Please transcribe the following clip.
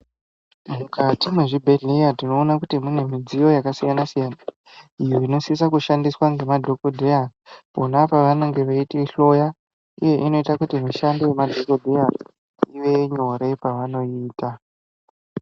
Mukati mezvibhedhlera tinoona kuti mune mudziyo yakasiyana siyana iyo inosisa kushandiswa ngemadhokodheya pona pavanenge veitihloya iyo inoita kuti mushando wemadhokodheya ive nyore pavayiita.